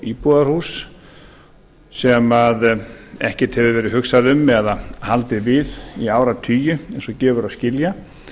íbúðarhús sem ekkert hefur verið hugsað um eða haldið við í áratugi eins og gefur að skilja